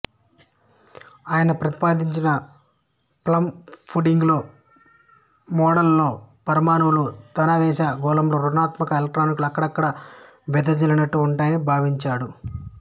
ఆయన ప్రతిపాదించిన plum pudding model లో పరమాణువులో ధనావేశ గోళంలో ఋణాత్మక ఎలక్ట్రానులు అక్కడక్కడ వెదజల్లినట్టు ఉంటాయని భావించాడు